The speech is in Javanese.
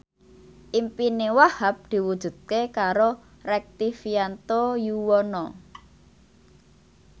impine Wahhab diwujudke karo Rektivianto Yoewono